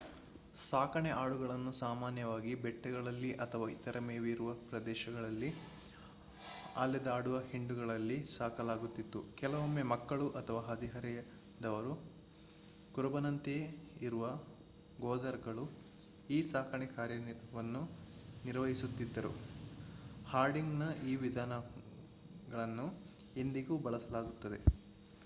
ಸಾಕಣೆ ಆಡುಗಳನ್ನು ಸಾಮಾನ್ಯವಾಗಿ ಬೆಟ್ಟಗಳಲ್ಲಿ ಅಥವಾ ಇತರ ಮೇವಿರುವ ಪ್ರದೇಶಗಳಲ್ಲಿ ಅಲೆದಾಡುವ ಹಿಂಡುಗಳಲ್ಲಿ ಸಾಕಲಾಗುತ್ತಿತ್ತು. ಕೆಲವೊಮ್ಮೆ ಮಕ್ಕಳು ಅಥವಾ ಹದಿಹರೆಯದವರು ಕುರುಬನಂತೆಯೇ ಇರುವ ಗೊದರ್‌ಗಳು ಈ ಸಾಕಣೆ ಕಾರ್ಯವನ್ನು ನಿರ್ವಹಿಸುತ್ತಿದ್ದರು. ಹರ್ಡಿಂಗ್‌ನ ಈ ವಿಧಾನಗಳನ್ನು ಇಂದಿಗೂ ಬಳಸಲಾಗುತ್ತದೆ